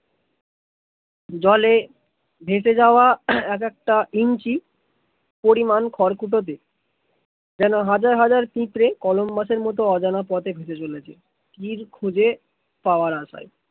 জলে ভেসে যাওয়া এক একটা ইঞ্চি পরিমাণ খড় খুঁটতে যেন হাজার হাজার পিঁপড়ে কলম্বাস এর মত অজানা পথে ভেসে যাছে তীর খুজে পাওয়ার আশায়